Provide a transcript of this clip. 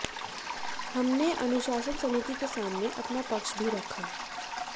हमने अनुशासन समिति के सामने अपना पक्ष भी रखा